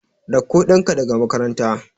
Ɗakko ɗanka daga makaranta.